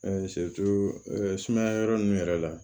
sumaya yɔrɔ ninnu yɛrɛ la